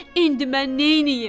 İndi mən neynəyim?